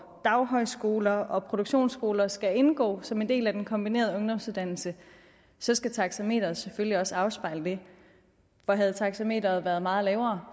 daghøjskoler og produktionsskoler skal indgå som en del af den kombinerede ungdomsuddannelse så skal taxameteret selvfølgelig også afspejle det for havde taxameteret været meget lavere